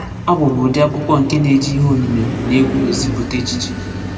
Abụ bụ ụdị akwụkwọ nke na-eji ihe onyinyo na egwu ezipụta echiche.